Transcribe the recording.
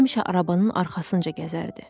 Həmişə arabanın arxasınca gəzərdi.